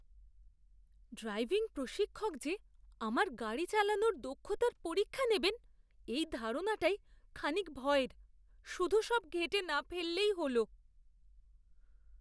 Driving প্রশিক্ষক যে আমার গাড়ি চালানোর দক্ষতার পরীক্ষা নেবেন এই ধারণাটাই খানিক ভয়ের। শুধু সব ঘেঁটে না ফেললেই হলো।